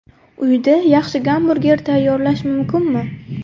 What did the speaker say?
Uyda yaxshi gamburger tayyorlash mumkinmi?